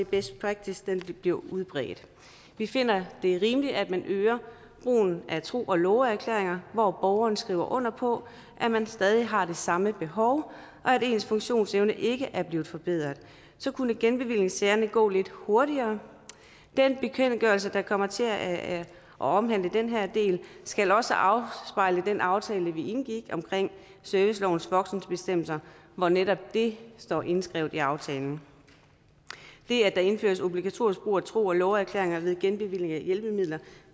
best practice bliver udbredt vi finder det rimeligt at man øger brugen af tro og love erklæringer hvor borgeren skriver under på at man stadig har det samme behov og at ens funktionsevne ikke er blevet forbedret så kunne genbevillingssagerne gå lidt hurtigere den bekendtgørelse der kommer til at omhandle den her del skal også afspejle den aftale vi indgik om servicelovens voksenbestemmelser hvor netop det står indskrevet i aftalen det at der indføres obligatorisk brug af tro og love erklæringer ved genbevilling af hjælpemidler